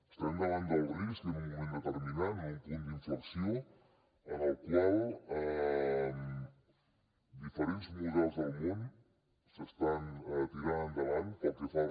estem davant del risc en un moment determinat en un punt d’inflexió en el qual diferents models del món s’estan tirant endavant pel que fa a